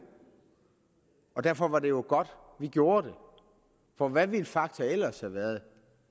og derfor var det jo godt at vi gjorde det for hvad ville fakta ellers have været